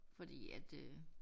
Fordi at øh